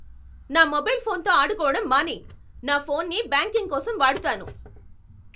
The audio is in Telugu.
నా మొబైల్ ఫోన్తో ఆడుకోవడం మానేయ్. నా ఫోన్ని బ్యాంకింగ్ కోసం వాడుతాను.